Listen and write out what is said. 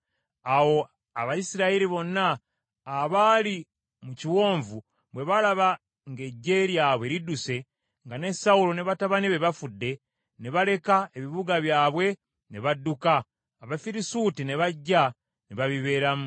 Awo Abayisirayiri bonna abaali mu kiwonvu, bwe baalaba ng’eggye lyabwe lidduse, nga ne Sawulo ne batabani be bafudde, ne baleka ebibuga byabwe ne badduka, Abafirisuuti ne bajja ne babibeeramu.